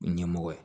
Ɲɛmɔgɔ ye